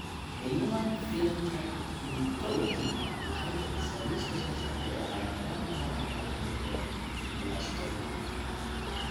The Human Phenotype Ontology waxay bixisaa liiska soo socda ee calaamadaha iyo calaamadaha Neuroblastoma.